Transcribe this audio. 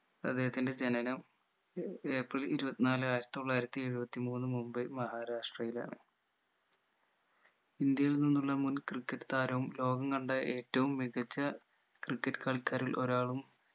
അദ്ദേഹത്തിന്റെ ജനനം ഏർ ഏപ്രിൽ ഇരുപത്തിനാല് ആയിരത്തി തൊള്ളായിരത്തി എഴുപത്തി മൂന്ന് മുംബൈ മഹാരാഷ്ട്രയിലാണ് ഇന്ത്യയിൽ നിന്നുള്ള മുൻ ക്രിക്കറ്റ് താരവും ലോകം കണ്ട ഏറ്റവും മികച്ച ക്രിക്കറ്റ് കളിക്കാരിൽ ഒരാളും